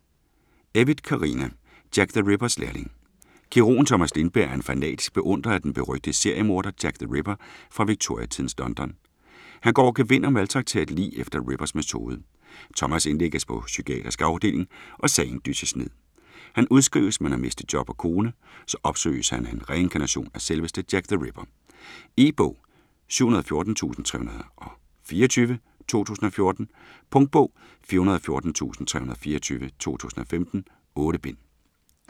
Evytt, Carina: Jack the Rippers lærling Kirurgen Thomas Lindberg er en fanatisk beundrer af den berygtede seriemorder Jack the Ripper fra Victioria-tidens London. Han går over gevind og maltrakterer et lig efter Rippers metode. Thomas indlægges på psykiatrisk afdeling, og sagen dysses ned. Han udskrives men har mistet job og kone. Så opsøges han af en reinkarnation af selveste Jack the Ripper. E-bog 714324 2014. Punktbog 414324 2015. 8 bind.